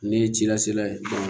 Ne ye ci lase la ye